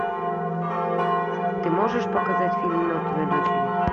ты можешь показать фильм мертвые дочери